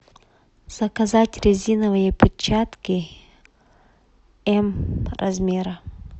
заказать резиновые перчатки м размера